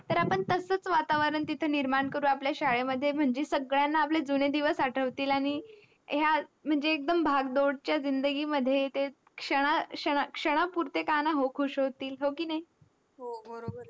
तर आपण तसच वातावरण निमरण करू आपल्या शाळेमध्ये म्हणजे सगळ्यांना आपले जुने दिवस आठवतील आनी ह्या भाग दौड च्या जिंदगी मध्ये ते क्षण क्षण क्षणापुरते का का ना खुस होतील हॉकी नाही